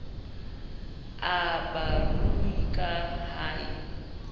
a barui ka ha e